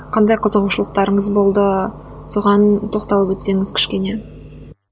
қандай қызығушылықтарыңыз болды соған тоқталып өтсеңіз кішкене